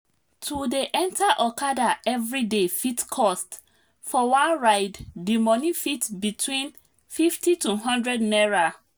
to dey enter okada everyday fit cost for one ride dimoney fit between 50 to one hundred naira